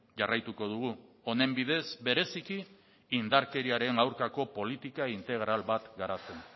jarraituko dugu honen bidez bereziki indarkeriaren aurkako politika integral bat garatzen